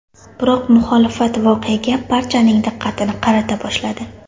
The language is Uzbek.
Biroq muxolifat voqeaga barchaning diqqatini qarata boshladi .